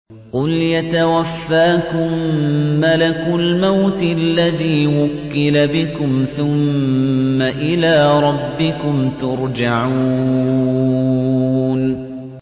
۞ قُلْ يَتَوَفَّاكُم مَّلَكُ الْمَوْتِ الَّذِي وُكِّلَ بِكُمْ ثُمَّ إِلَىٰ رَبِّكُمْ تُرْجَعُونَ